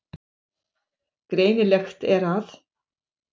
Greinilegt er að